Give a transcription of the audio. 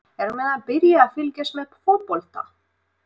Eru menn að byrja að fylgjast með fótbolta?